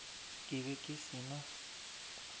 ke be ke se na